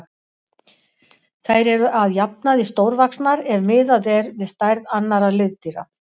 Þær eru að jafnaði stórvaxnar ef miðað er við stærð annarra liðdýra.